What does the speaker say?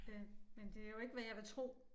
Øh men det jo ikke hvad jeg vil tro